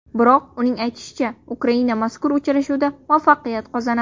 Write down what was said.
Biroq uning aytishicha, Ukraina mazkur uchrashuvda muvaffaqiyat qozonadi.